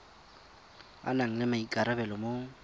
a nang le maikarabelo mo